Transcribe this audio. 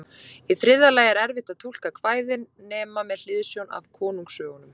Í þriðja lagi er erfitt að túlka kvæðin nema með hliðsjón af konungasögunum.